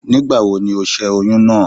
Nígbàwobni ó ṣẹ́ oyún náà?